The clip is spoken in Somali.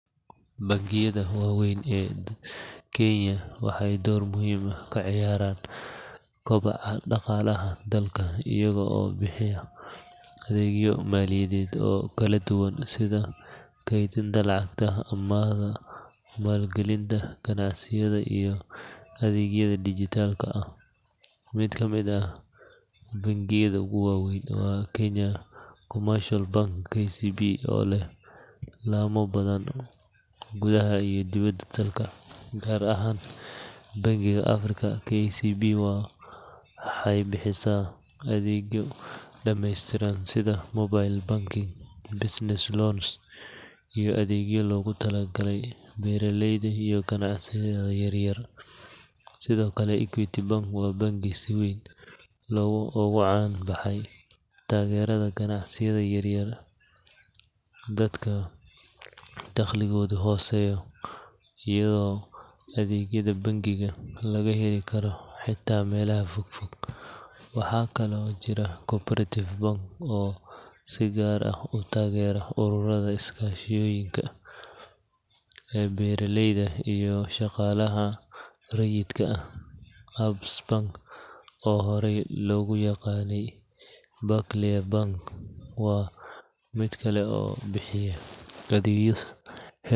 Bangiyada waaweyn ee Kenya waxay door muhiim ah ka ciyaaraan kobaca dhaqaalaha dalka iyaga oo bixiya adeegyo maaliyadeed oo kala duwan sida kaydinta lacagta, amaahda, maalgelinta ganacsiyada iyo adeegyada dijitaalka ah. Mid ka mid ah bangiyada ugu waaweyn waa Kenya Commercial Bank (KCB) oo leh laamo badan gudaha iyo dibadda dalka, gaar ahaan Bariga Afrika. KCB waxay bixisaa adeegyo dhameystiran sida mobile banking, business loans iyo adeegyo loogu talagalay beeraleyda iyo ganacsiyada yaryar. Sidoo kale, Equity Bank waa bangi si weyn ugu caan baxay taageerada ganacsiyada yar-yar iyo dadka dakhligoodu hooseeyo, iyadoo adeegyada bangigan laga heli karo xataa meelaha fogfog. Waxaa kaloo jira Co-operative Bank oo si gaar ah u taageera ururada iskaashatooyinka, beeraleyda iyo shaqaalaha rayidka ah. Absa Bank Kenya, oo hore loogu yaqaanay Barclays Bank, waa mid kale oo bixiya adeegyo heer sare.